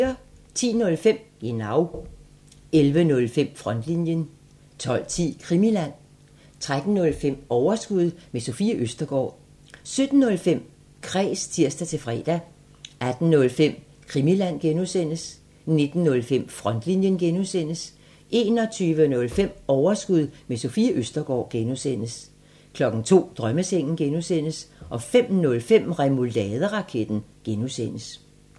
10:05: Genau 11:05: Frontlinjen 12:10: Krimiland 13:05: Overskud – med Sofie Østergaard 17:05: Kræs (tir-fre) 18:05: Krimiland (G) 19:05: Frontlinjen (G) 21:05: Overskud – med Sofie Østergaard (G) 02:00: Drømmesengen (G) 05:05: Remouladeraketten (G)